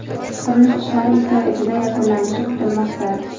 qurilish ishlari ikki oy ichida yakunlanishi kutilmoqda.